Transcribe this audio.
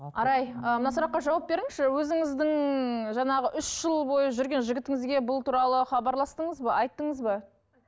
арай ы мына сұраққа жауап беріңізші өзіңіздің жаңағы үш жыл бойы жүрген жігітіңізге бұл туралы хабарластыңыз ба айттыңыз ба